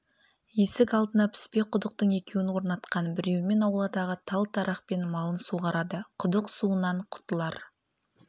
есік алдына піспе құдықтың екеуін орнатқан біреуімен ауладағы тал дарақпен малын суғарады құдық суынан құтылар